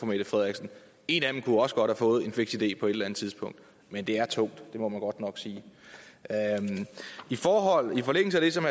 mette frederiksen og en af dem kunne også godt have fået en fiks idé på et eller andet tidspunkt men det er tungt det må man godt nok sige i forlængelse af det som